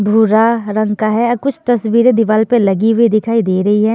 भूरा रंग का है कुछ तस्वीरें दीवाल पे लगी हुई दिखाई दे रही है।